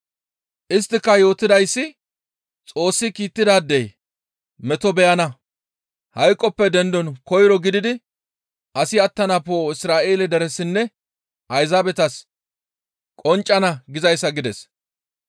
Isttika yootidayssi, ‹Xoossi kiittidaadey meto beyana; hayqoppe dendon koyro gididi asi attana poo7oy Isra7eele deresinne Ayzaabetas qonccana› gizayssa» gides.